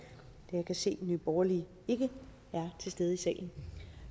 jeg kan se at nye borgerlige ikke er til stede i salen